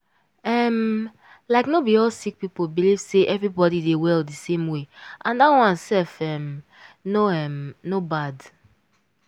um like no be all sick people believe say everybody dey well di same way and dat one sef um no um no bad.